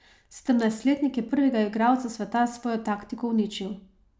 Sedemnajstletnik je prvega igralca sveta s svojo taktiko uničil.